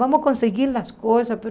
Vamos conseguir as coisas, mas...